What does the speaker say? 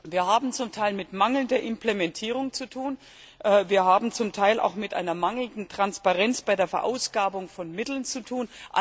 Wir haben es zum Teil mit mangelnder Implementierung zu tun, wir haben es zum Teil auch mit einer mangelnden Transparenz bei der Verausgabung von Mitteln zu tun.